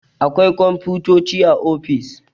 Akwai komfutoci a ofis